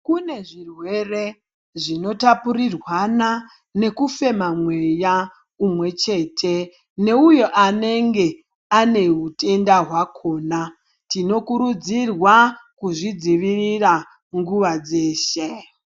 Kune zvirwere zvinotapurirwana nekufema mweya unomwe chete. Neuvu anenge ane hutenda hwakona tinokurudzirwa kuzvidzivirira kunguva dzeshe.